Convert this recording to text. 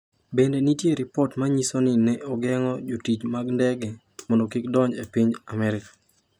Bende nitie ripot ma nyiso ni ne ogeng’o jotich mag ndege mondo kik odonj e piny Amerka.